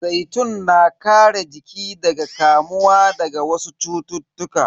Zaitun na kare jiki daga kamuwa daga wasu cututtuka.